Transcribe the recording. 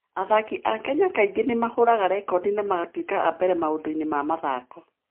Athaki a Kenya kaingĩ nĩ mahũraga rekondi na magatuĩka a mbere maũndũ-inĩ ma mathaako.